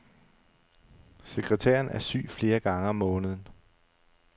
Sekretæren er syg flere gange om måneden.